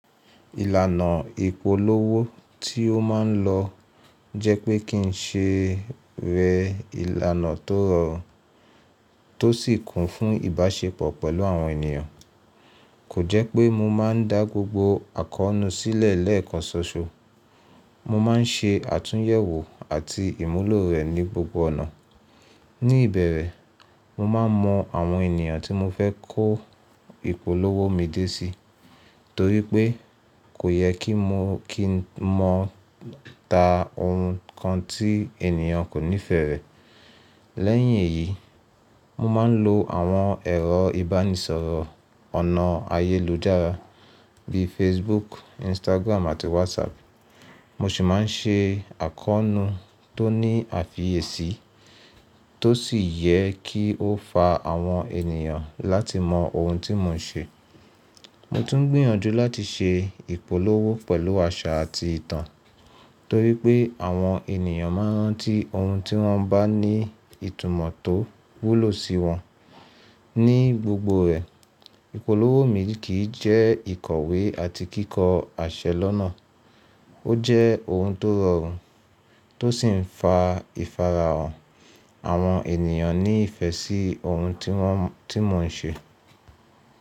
Ìlànà ìpolówó tí ó máa ń lò jẹ́ pé kí n ṣe rẹ ìlànà tó rọ̀ tó sì kún fún ìbáṣepọ̀ pẹ̀lú àwọn ènìyàn. Kò jẹ́ pé mo máa ń dá gbogbo àkọ́nú sílẹ̀ lẹ́ẹ̀kan ṣoṣo. Mo máa ń ṣe àtúnyẹ̀wò àti ìmúlò rẹ̀ ní gbogbo ọ̀nà. Ní ìbẹ̀rẹ̀, mo máa mọ àwọn ènìyàn tí mo fẹ́ kó ìpolówó mi dé sí torí pé kò yẹ kí mo, kí n mọ ta ohun kan tí ènìyàn kò nífẹ̀ẹ́ rẹ̀. Lẹ́yìn èyí, mo máa ń lo àwọn ẹ̀rọ ìbánisọ̀rọ̀ ọ̀nà ayélujára bí i Facebook, Instagram àti WhatsApp. Mo sì máa ń ṣe àkọ́nú tó ní àfiyèsí tó sì yẹ kí ó fa àwọn ènìyàn láti mọ ohun tí mò ń ṣe. Mo tún gbìyànjú láti ṣe ìpolówó pẹ̀lú àṣà àti ìtàn torí pé àwọn ènìyàn máa rántí ohun tí wọ́n bá ní ìtumọ̀ tó wúlò sí wọn. Ní gbogbo rẹ̀, ìpolówó mi kì í jẹ́ ìkọ̀wé àti kíkọ aṣẹ lọ́nà. Ó jẹ́ ohun tó rọrùn tó sì ń fa ìfarahàn àwọn ènìyàn ní ìfẹ́ sí ohun tí wọ́n, tí mò ń ṣe.